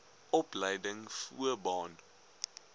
opleiding voo baan